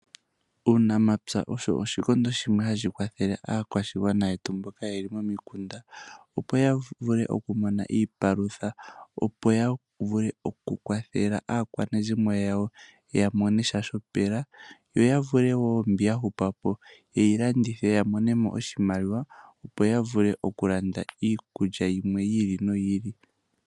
Uunamapya osho oshikondo shimwe shoka hashi kwathele aakwashigwana yetu mboka yeli momikunda opo yavule okumona iipalutha yavule oku kwathela aakwanezimo yawo ya monesha shopela yo ya vule woo mbi yahupapo yeyi landithe yamonemo oshimaliwa opo yavule oku landa iikulya yimwe yi iki noyi ili.